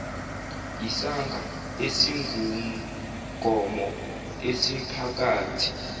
yisaga esingumgomo esiphakathi